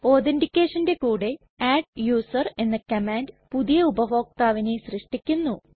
ഒധെറ്റികെഷന്റെ കൂടെ അഡ്ഡൂസർ എന്ന കമാൻഡ് പുതിയ ഉപഭോക്താവിനെ സൃഷ്ടിക്കുന്നു